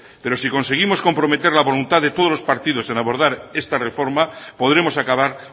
pero si conseguimos comprometer la voluntad de todos los partidos en abordar esta reforma podremos acabar